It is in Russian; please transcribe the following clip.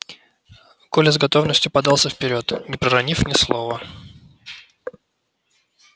коля с готовностью подался вперёд не проронив ни слова